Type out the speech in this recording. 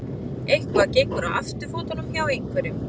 Eitthvað gengur á afturfótunum hjá einhverjum